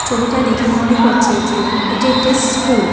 ছবিটা দেখে মনে হচ্ছে যে এটি একটি স্কুল ।